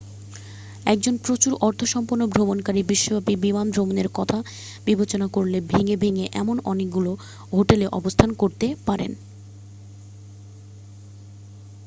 একজন প্রচুর অর্থসম্পন্ন ভ্রমণকারী বিশ্বব্যাপী বিমান ভ্রমণের কথা বিবেচনা করলে ভেঙ্গে ভেঙ্গে এমন অনেকগুলি হোটেলে অবস্থান করতে পারেন